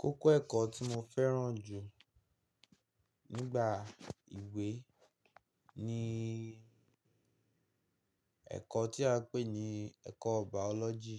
Kókó ẹ̀kọ́ tí mo fẹ́ràn jù nígbà ìwé ni ẹ̀kọ́ tí a ń pè ní ẹ̀kọ́ Biology.